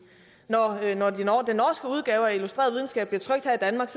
når den norske udgave af illustreret videnskab bliver trykt her i danmark